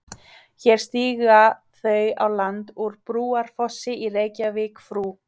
Hér stíga þau á land úr Brúarfossi í Reykjavík frú